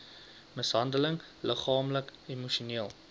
mishandeling liggaamlik emosioneel